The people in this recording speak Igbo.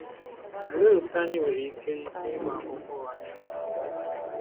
Òlee otú anyị nwere ike ike ịgba akụkọ ụgha na-enweghị nghọta?